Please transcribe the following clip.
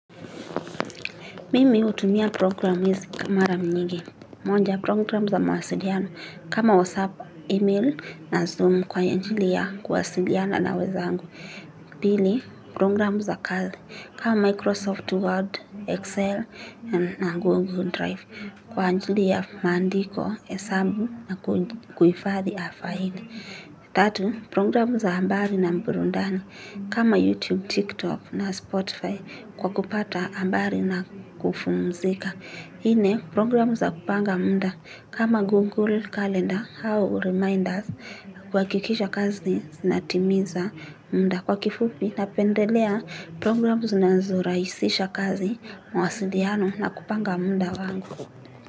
Mimi hutumia programu hizi kwa mara mingi. Moja programu za mawasiliano kama WhatsApp, email na Zoom kwa ajili ya kuwasiliana na wenzangu. Pili, programu za kazi kama Microsoft Word, Excel na Google Drive. Kwa ajili ya maandiko, hesabu na kuihifadhi faili. Tatu, programu za habari na burudani kama YouTube, TikTok na Spotify. Kwa kupata habari na kupumzika nne programu za kupanga muda kama Google Calendar au Reminders huhakikisha kazi Zinatimiza muda Kwa kifupi napendelea Programu zinazorahisisha kazi mawasiliano na kupanga muda wangu.